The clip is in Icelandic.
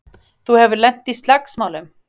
Þú hefur lent í slagsmálum!